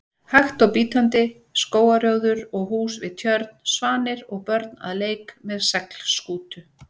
hægt og bítandi: skógarrjóður og hús við tjörn, svanir og börn að leik með seglskútu.